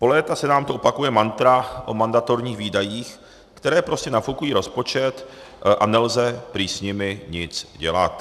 Po léta se nám tu opakuje mantra o mandatorních výdajích, které prostě nafukují rozpočet, a nelze prý s nimi nic dělat.